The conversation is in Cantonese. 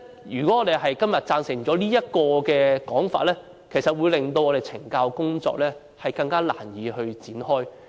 如果我們今天贊成這項議案，會令懲教工作更難以展開。